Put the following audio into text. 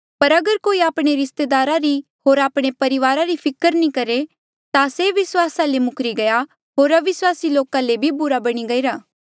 पर अगर कोई आपणे रिस्तेदारा री होर आपणे परिवारा री फिकर नी करहे ता से विस्वासा ले मुखरी गया होर अविस्वासी लोका ले भी बुरा बणी गईरा